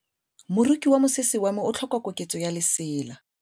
Moroki wa mosese wa me o tlhoka koketsô ya lesela.